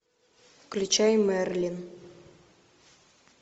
включай мерлин